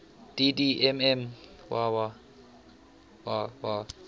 dd mm yyyy